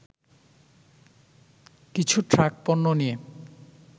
কিছু ট্রাক পণ্য নিয়ে